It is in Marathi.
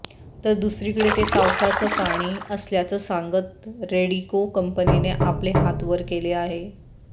तर दुसरीकडे ते पावसाचं पाणी असल्याचं सांगत रेडीको कंपनीने आपले हात वर केले आहे